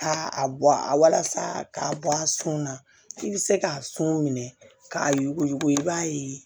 Aa a walasa k'a bɔ a sun na i bɛ se k'a sun minɛ k'a yuguyugu i b'a ye